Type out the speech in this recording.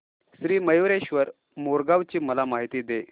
श्री मयूरेश्वर मोरगाव ची मला माहिती दे